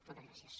moltes gràcies